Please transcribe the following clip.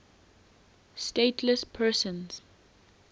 stateless persons